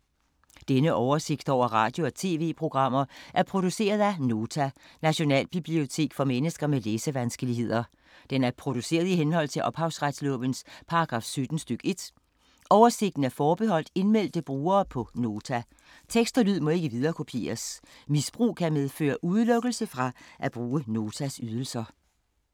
Denne oversigt over radio og TV-programmer er produceret af Nota, Nationalbibliotek for mennesker med læsevanskeligheder. Den er produceret i henhold til ophavsretslovens paragraf 17 stk. 1. Oversigten er forbeholdt indmeldte brugere på Nota. Tekst og lyd må ikke viderekopieres. Misbrug kan medføre udelukkelse fra at bruge Notas ydelser.